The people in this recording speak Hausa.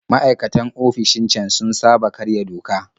Maikatan ofishin can sun saba karya doka